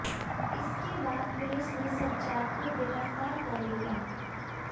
इसके बाद पुलिस ने सज्जाद को गिरफ्तार कर लिया